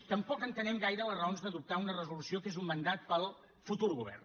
tampoc entenem gaire les raons d’adoptar una resolució que és un mandat per al futur govern